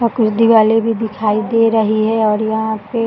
और कुछ दीवाले भी दिखाई दे रही है और यहाँ पे --